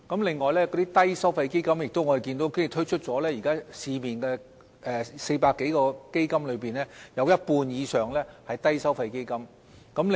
另外，關於低收費基金，我們亦看到現時在市面推出的400多個基金中，有一半以上都是低收費基金。